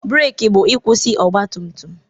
breeki bụ ịkwụsị ọgbatumtum.